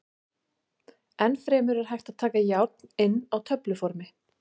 Enn fremur er hægt að taka járn inn á töfluformi.